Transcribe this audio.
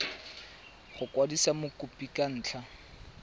go kwadisa mokopi ka ntlha